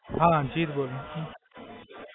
હાં જીત બોલું છું.